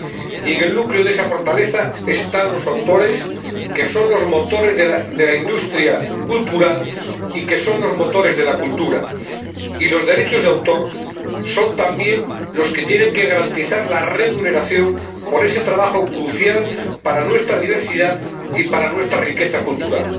Y en el núcleo de esa fortaleza están los autores, que son los motores de la industria cultural y que son los motores de la cultura, y los derechos de autor son también los que tienen que garantizar la remuneración por ese trabajo crucial para nuestra diversidad y para nuestra riqueza cultural.